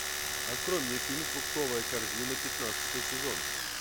открой мне фильм фруктовая корзина пятнадцатый сезон